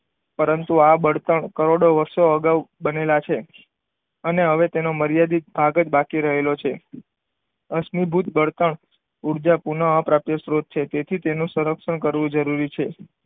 પરંતુ આ બળતણ કરોડો વર્ષો અગાઉ બનેલા છે. અને હવે તેનો મર્યાદિત ભાગ જ બાકી રહેલો છે. અશ્મિભૂત બળતણ ઉર્જા પુનઃ અપ્રાપ્ય સ્ત્રોત તેથી તેનું સંરક્ષણ કરવું જરૂરી છે.